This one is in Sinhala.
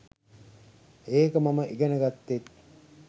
ඒක මම ඉගෙන ග‍ත්තෙත්.